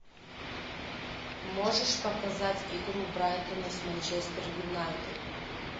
можешь показать игру брайтона с манчестер юнайтед